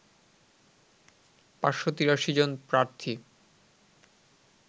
৫৮৩ জন প্রার্থী